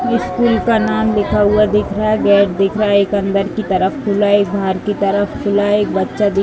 इस स्कूल का नाम लिखा हुवा दिख रहा है। गेट दिख रहा है। एक अंदर की तरफ खुला है। एक बाहर की तरफ खुला है। एक बच्चा --